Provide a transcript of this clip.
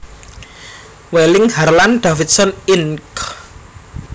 Wheeling Harlan Davidson Inc